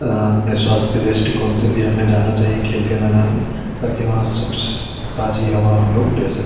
अ अपने स्वास्थ्य के दृष्टिकोण से भी हमे जाना चाहिए खेल के मैदान में ताकि वहाँ सुख ताज़ी हवा हम ले सके।